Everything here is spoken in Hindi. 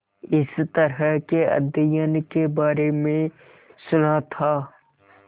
इस तरह के अध्ययन के बारे में सुना था